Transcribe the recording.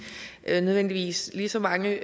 nødvendigvis lige så mange